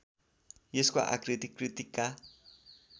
यसको आकृति कृत्तिका